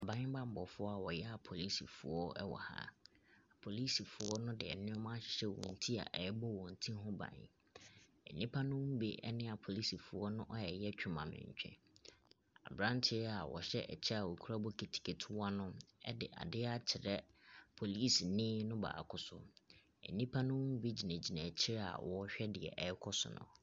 Aban bammɔfoɔ a wɔyɛ apolisifoɔ wɔ ha. Polisifoɔ no de nneɛma ahyehyɛ wɔn ti a ɛrebɔ wɔn ti ho ban. Nnipa no bi ne apolisifoɔ no reyɛ twemamentwe. Aberanteɛ a ɔhyɛ kyɛ a ɔkura bokiti ketewa no de adeɛ akyerɛ polisini no baako so. Nnipa no bi gyinagyina akyire a wɔrehwɛ deɛcɛrekɔ so no.